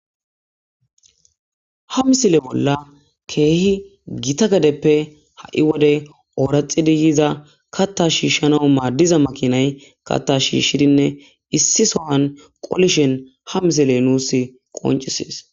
ha misile bolla keehi gita gadeppe ha7i wode ooraxidi yiiza katta shiishshano maaddiza makinay katta shiishshidinne issi sohan qolishen ha misile nuus qoncisees